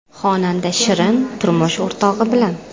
Xonanda Shirin turmush o‘rtog‘i bilan.